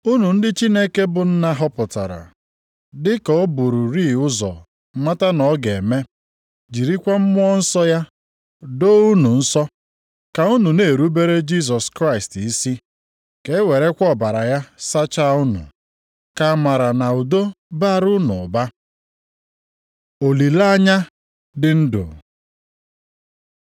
Unu ndị Chineke bụ Nna họpụtara dị ka o bururị ụzọ mata na ọ ga-eme, jirikwa Mmụọ Nsọ ya doo unu nsọ, ka unu na-erubere Jisọs Kraịst isi, ka ewerekwa ọbara ya sachaa unu: Ka amara na udo baara unu ụba. Olileanya dị ndụ